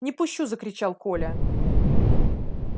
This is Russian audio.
не пущу закричал коля